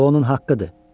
Bu onun haqqıdır.